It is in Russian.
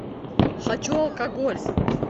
хочу алкоголь